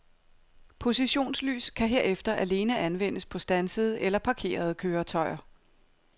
Positionslys kan herefter alene anvendes på standsede eller parkerede køretøjer.